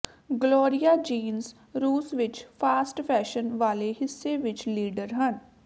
Gloria Jeans ਰੂਸ ਵਿਚ fast fashion ਵਾਲੇ ਹਿੱਸੇ ਵਿਚ ਲੀਡਰ ਹਨ